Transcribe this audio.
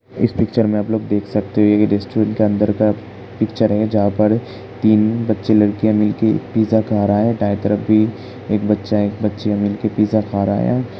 इस पिक्चर में आप लोग देख सकते हैं। ये रेस्टोरेंट के अंदर का पिक्चर है। जहाँ पर तीन बच्चे लड़कियाँ मिलके पिज्जा खा रहा है। दाएँ तरफ भी एक बच्चा एक बच्चियाँ मिलके पिज्जा खा रहा है।